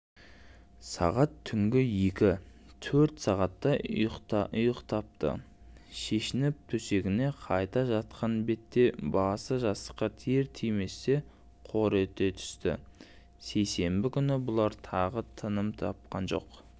сағат түнгі екі төрт сағаттай ұйықтапты шешініп төсегіне қайта жатқан бетте басы жастыққа тиер-тиместе қор ете түстісейсенбі күні бұлар тағы тыным тапқан жоқ